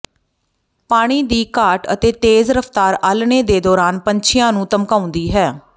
ਪਾਣੀ ਦੀ ਘਾਟ ਅਤੇ ਤੇਜ਼ ਰਫਤਾਰ ਆਲ੍ਹਣੇ ਦੇ ਦੌਰਾਨ ਪੰਛੀਆਂ ਨੂੰ ਧਮਕਾਉਂਦੀ ਹੈ